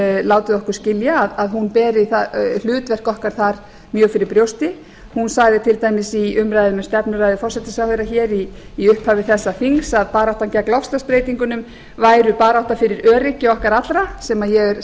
látið okkur skilja að hún beri hlutverk okkar þar mjög fyrir brjósti hún sagði til dæmis í umræðum um stefnuræðu forsætisráðherra hér í upphafi þessa þings að baráttan gegn loftslagsbreytingunum væri barátta fyrir öryggi okkar allra sem ég er